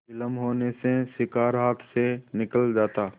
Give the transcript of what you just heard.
विलम्ब होने से शिकार हाथ से निकल जाता